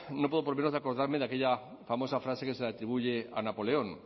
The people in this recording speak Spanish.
no puedo por menos de acordarme de aquella famosa frase que se le atribuye a napoleón